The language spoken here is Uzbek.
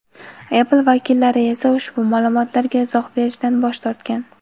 Apple vakillari esa ushbu ma’lumotga izoh berishdan bosh tortgan.